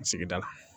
Sigida